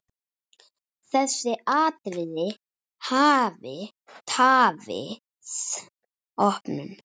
Þessi atriði hafi tafið opnun.